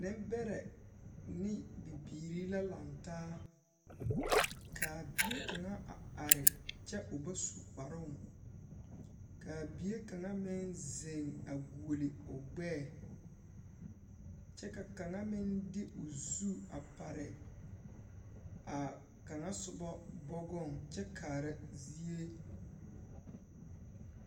Nembɛrɛ ne bibiiri la lantaa, k'a bie kaŋa a are kyɛ o ba su kparoŋ. K'a bie kaŋa meŋ zeŋ a guoli o gbɛɛ kyɛ ka kaŋa meŋ de o zu a pare a kaŋa sobɔ bɔgɔŋ kyɛ kaara zie